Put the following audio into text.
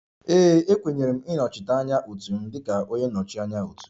Ee e, e kenyere m ịnọchite anya otu m dịka onye nnọchi anya otu